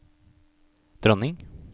dronning